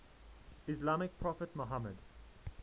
islamic prophet muhammad